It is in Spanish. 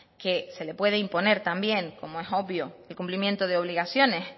que se le puede imponer también como es obvio el cumplimiento de obligaciones